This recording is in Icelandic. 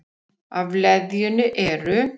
Af leðjunni eru